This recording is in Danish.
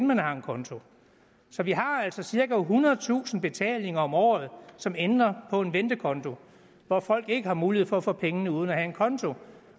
man har en konto så vi har altså cirka ethundredetusind betalinger om året som ender på en ventekonto hvor folk ikke har mulighed for at få pengene uden at have en konto